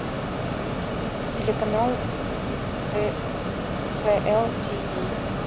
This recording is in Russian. телеканал кхл тв